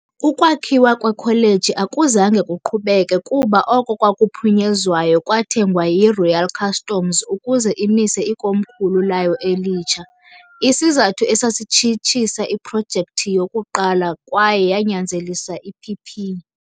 Ukwakhiwa kweKholeji akuzange kuqhubeke, kuba oko kwaphunyezwayo kwathengwa yiRoyal Customs ukuze imise ikomkhulu layo elitsha- isizathu esatshitshisa iprojekthi yokuqala kwaye yanyanzelisa iPP.